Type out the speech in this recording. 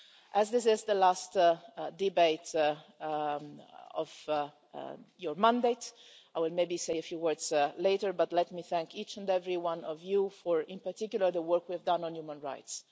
As this is the last debate of your mandate, I will maybe say a few words later, but let me thank each and every one of you for, in particular, the work we've done on human rights.